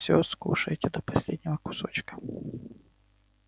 все скушаете до последнего кусочка